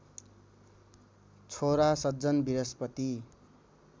छोरा सज्जन बृहस्पति